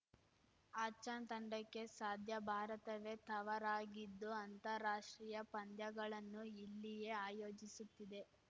ಆಷ್ಘಾನ್‌ ತಂಡಕ್ಕೆ ಸಾದ್ಯ ಭಾರತವೇ ತವರಾಗಿದ್ದು ಅಂತಾರಾಷ್ಟ್ರೀಯ ಪಂದ್ಯಗಳನ್ನು ಇಲ್ಲಿಯೇ ಆಯೋಜಿಸುತ್ತಿದೆ